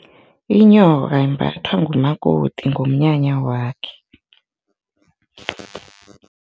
Inyoka imbathwa ngumakoti ngomnyanya wakhe.